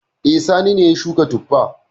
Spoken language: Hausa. E, Sani ne ya shuka tuffa.